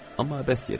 Amma əbəs yerə.